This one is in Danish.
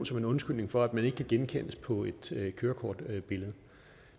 som en undskyldning for at man ikke kan genkendes på et kørekortbillede